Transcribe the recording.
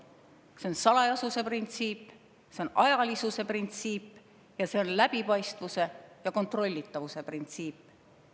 See on salajasuse printsiip, see on ajalisuse printsiip ning see on läbipaistvuse ja kontrollitavuse printsiip.